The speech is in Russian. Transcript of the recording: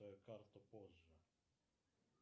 карту позже